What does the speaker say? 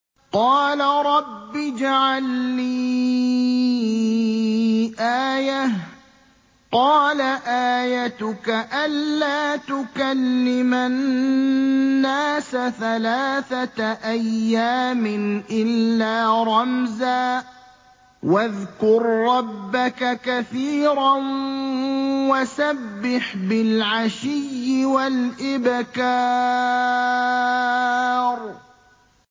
قَالَ رَبِّ اجْعَل لِّي آيَةً ۖ قَالَ آيَتُكَ أَلَّا تُكَلِّمَ النَّاسَ ثَلَاثَةَ أَيَّامٍ إِلَّا رَمْزًا ۗ وَاذْكُر رَّبَّكَ كَثِيرًا وَسَبِّحْ بِالْعَشِيِّ وَالْإِبْكَارِ